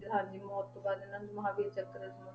ਹਾਂਜੀ ਮੌਤ ਤੋਂ ਬਾਅਦ ਇਹਨਾਂ ਨੂੰ ਮਹਾਂਵੀਰ ਚੱਕਰ ਵੀ